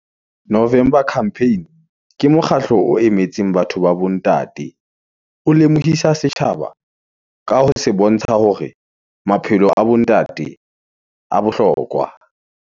November campaign, ke mokgatlo o emetseng batho ba bo ntate, o lemohisa setjhaba ka ho se bontsha hore , maphelo a bo ntate a bohlokwa.